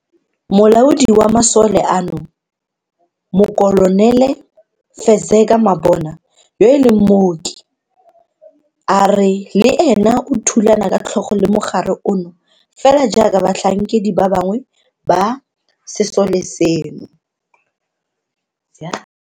Molaodi wa masole ano, Mokolonele Fezeka Mabona, yo e leng mooki, a re le ena o thulana ka tlhogo le mogare ono fela jaaka batlhankedi ba bangwe ba sesole seno.